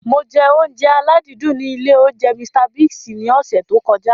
Mo jẹ oúnjẹ aládìídùn ní ilé oúnjẹ Mr Biggs ní ọsẹ̀ tí ó kọjá.